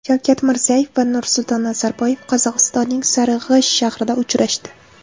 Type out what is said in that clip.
Shavkat Mirziyoyev va Nursulton Nazarboyev Qozog‘istonning Sariag‘ash shahrida uchrashdi.